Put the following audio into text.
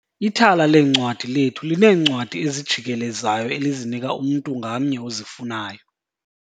Ithala leencwadi lethu lineencwadi ezijikelezayo elizinika umntu ngamnye ozifunayo.